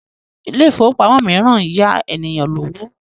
Ilé ifówópamọ́ míràn ń yá ènìyàn lówó